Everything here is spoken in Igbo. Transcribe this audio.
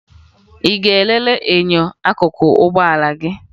Ị ga-elele enyo akụkụ ụgbọala gị?